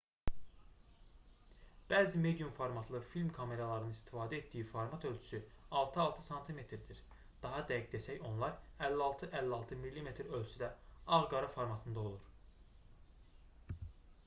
bəzi medium formatlı film kameralarının istifadə etdiyi format ölçüsü 6x6 sm-dir daha dəqiq desək onlar 56x56 mm ölçüdə ağ-qara formatında olur